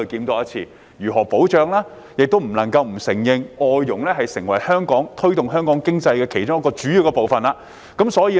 我們亦不得不承認，外傭已成為推動香港經濟的其中一個主要元素。